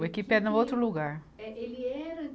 O Equipe é num outro lugar. é, ele era